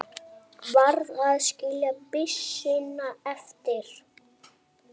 Varð að skilja byssuna eftir.